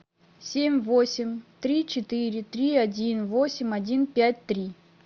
семь восемь три четыре три один восемь один пять три